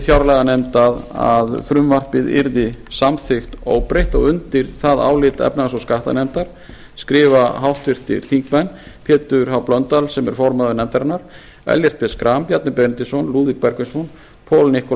fjárlaganefnd að frumvarpið yrði samþykkt óbreytt og undir það álit efnahags og skattanefndar skrifa háttvirtir þingmenn pétur h blöndal sem er formaður nefndarinnar ellert b schram bjarni benediktsson lúðvík bergvinsson paul